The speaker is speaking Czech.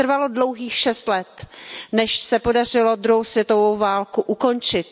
A trvalo dlouhých šest let, než se podařilo druhou světovou válku ukončit.